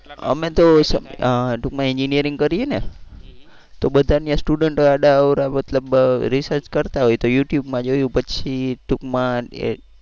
અમે તો અ ટુંકમાં engineering કરીએ ને તો બધા ત્યાં student આડા અવડા મતલબ research કરતાં હોય તો youtube માં જોયું પછી ટુંકમાં એ